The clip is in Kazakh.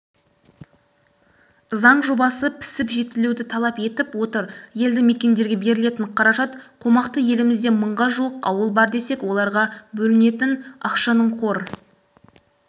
заң жобасы пісіп-жетілуді талап етіп отыр елді мекендерге берілетін қаражат қомақты елімізде мыңға жуық ауыл бар десек оларға бөлінетін ақшаның қор